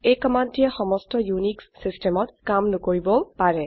এই কমান্ডটিয়ে সমস্ত ইউনিক্স সিস্টেমত কাম নকৰিবও পাৰে